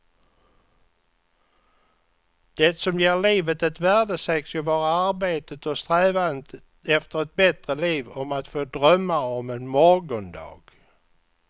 Det som ger livet ett värde sägs ju vara arbetet och strävandet efter ett bättre liv, om att få drömma om en morgondag.